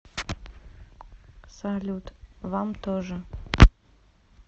салют вам тоже